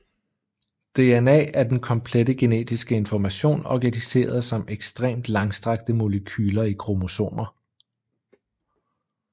DNA er den komplette genetiske information organiseret som ekstremt langstrakte molekyler i kromosomer